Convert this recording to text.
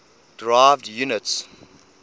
derived units